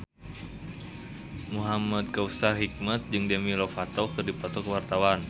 Muhamad Kautsar Hikmat jeung Demi Lovato keur dipoto ku wartawan